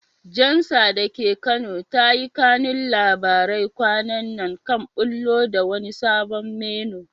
Jalsa da ke Kano ta yi kanun labarai kwanan nan kan ɓullo da wani sabon menu.